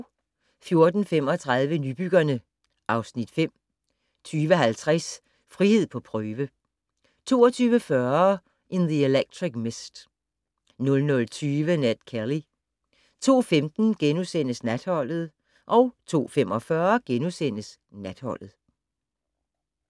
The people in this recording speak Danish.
14:35: Nybyggerne (Afs. 5) 20:50: Frihed på prøve 22:40: In the Electric Mist 00:20: Ned Kelly 02:15: Natholdet * 02:45: Natholdet *